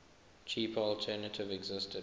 cheaper alternative existed